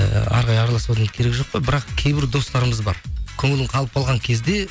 ыыы әрі қарай аралысудың керегі жоқ қой бірақ кейбір достарымыз бар көңілің қалып қалған кезде